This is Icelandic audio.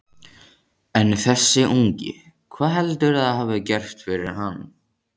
En þessi ungi, hvað heldurðu að hafi gerst fyrir hann?